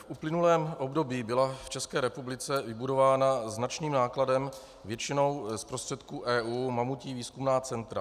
V uplynulém období byla v České republice vybudována značným nákladem, většinou z prostředků EU, mamutí výzkumná centra.